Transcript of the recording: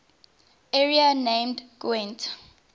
area named gwent